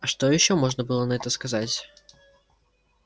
а что ещё можно было на это сказать